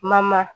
Mama